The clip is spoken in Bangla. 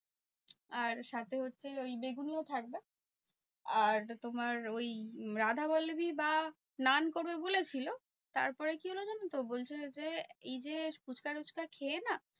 আর সাথে হচ্ছে ওই বেগুনিও থাকবে। আর তোমার ওই রাধাবল্লভী বা নান করবে বলেছিলো। তারপরে কি হলো জানোতো? বলছে যে এই যে ফুচকা তুচকা খেয়ে না